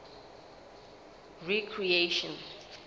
recreation